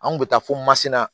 An kun bɛ taa fo masina